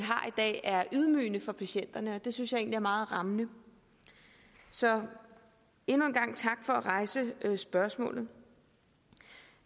dag er ydmygende for patienterne og det synes jeg egentlig er meget rammende så endnu en gang tak for at rejse spørgsmålet